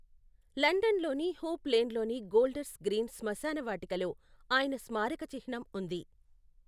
లండన్లోని హూప్ లేన్లోని Golders Green శ్మశానవాటికలో ఆయన స్మారక చిహ్నం ఉంది.